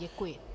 Děkuji.